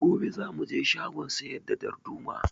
Gobe za mu je shagon siyar da darduma